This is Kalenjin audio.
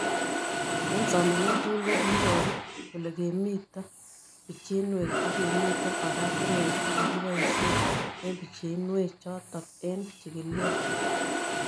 Eng' somanet tugul ko kikiparu kole kimito pichinwek ako kimito oratinwek che kikipoishe eng' pichinwek chotk eng' chig'ilet